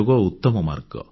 ଡଃ ଅନିଲ ସୋନାରାଙ୍କ ସ୍ବର